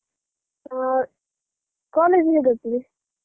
ಹ ಕಾಲೇಜು ಹೇಗಾಗ್ತದೆ?